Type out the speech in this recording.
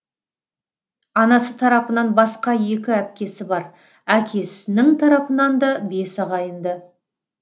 анасы тарапынан басқа екі әпкесі бар әкесінің тарапынан да бес ағайынды